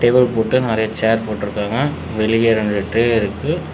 Stool போட்டு நெறையா chair போட்ருக்காங்க வெளிய ரெண்டு ட்ரே இருக்கு.